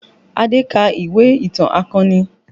Adé ka ìwé ìtàn akọni